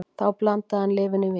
Þá blandaði hann lyfinu í vín